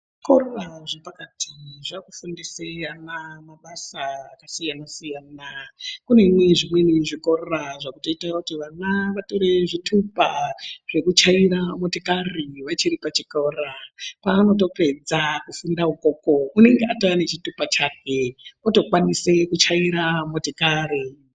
Zvikora zvepakati zvakufundisa ana mabasa akasiyana siyana kune zvimweni zvikora zvakutoita kuti ana vatore zvitupa zvekutyaira motikari vachiripachikora pavanotopedza kufunda ikoko anenga atoone chitupa chake otokwanisa kutyaira motokari .